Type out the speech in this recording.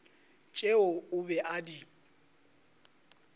tšeo o be a di